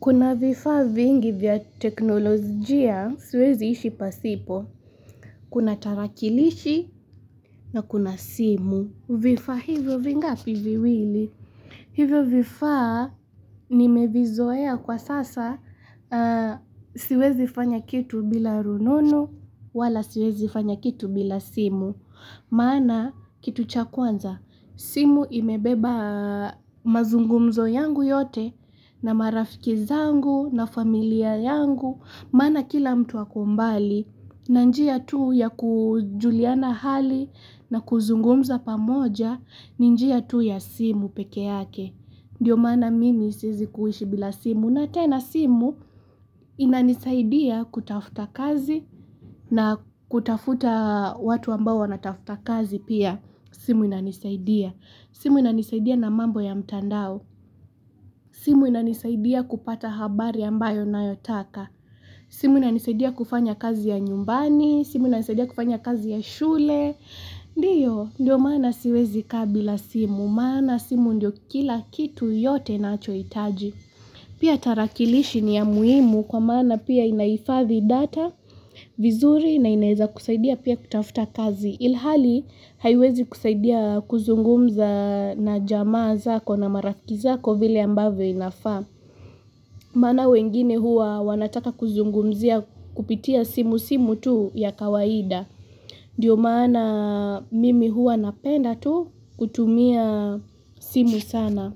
Kuna vifaa vingi vya teknolojia, siwezi ishi pasipo. Kuna tarakilishi na kuna simu. Vifaa hivyo vingapi? Viwili Hivyo vifaa, nimevizoea kwa sasa, siwezi fanya kitu bila rununu, wala siwezi fanya kitu bila simu. Maana kitu cha kwanza simu imebeba mazungumzo yangu yote na marafiki zangu na familia yangu maana kila mtu ako mbali na njia tu ya kujuliana hali na kuzungumza pamoja ni njia tu ya simu pekee yake Ndio maana mimi siwezi kuishi bila simu na tena simu inanisaidia kutafuta kazi na kutafuta watu ambao wanatafuta kazi pia simu inanisaidia. Simu inanisaidia na mambo ya mtandao. Simu inanisaidia kupata habari ambayo ninqyotaka. Simu inanisaidia kufanya kazi ya nyumbani, simu inanisaidia kufanya kazi ya shule. Ndiyo, ndio maana siwezi kaa bila simu, maana simu ndio kila kitu yote ninachohitaji Pia tarakilishi ni ya muhimu kwa maana pia inahifadhi data vizuri na inaeza kusaidia pia kutafuta kazi. Ilhali, haiwezi kusaidia kuzungumza na jamaa zako na marafiki zako vile ambavyo inafaa maana wengine huwa wanataka kuzungumzia kupitia simu, simu tu ya kawaida Ndiyo maana mimi huwa napenda tu, kutumia simu sana.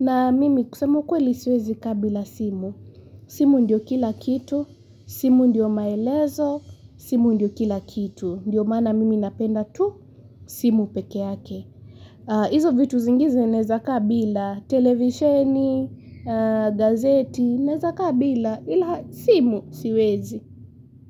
Na mimi kusema ukweli siwezi kaa bila simu. Simu ndio kila kitu, simu ndio maelezo, simu ndio kila kitu. Ndiyo maana mimi napenda tu, simu peke yake. Izo vitu zingine naeza kaa bila, televisheni, gazeti, naeza kaa bila, ila simu siwezi.